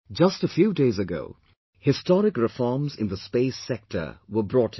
Just a few days ago, historic reforms in the space sector were brought in